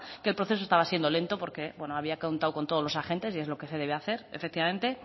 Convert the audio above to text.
que el proceso estaba siendo lento porque bueno había contado con todos los agentes y es lo que se debe hacer efectivamente